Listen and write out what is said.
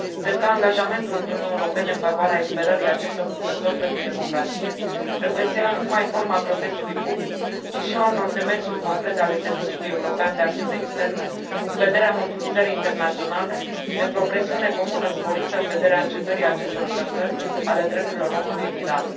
Cred că angajamentul Uniunii Europene în favoarea eliberării acestor luptători pentru democrație trebuie să ia nu numai forma protestului public, ci și a unor demersuri concrete ale Serviciului European de Acțiune Externă, în vederea mobilizării internaționale pentru o presiune comună sporită, în vederea încetării acestor încălcări ale drepturilor omului în Iran.